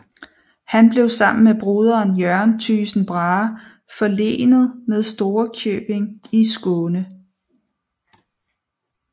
Han blev sammen med broderen Jørgen Thygesen Brahe forlenet med Storekjøbing i Skåne